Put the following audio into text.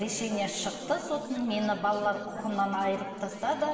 решение шықты соттың мені балалар құқығынан айырып тастады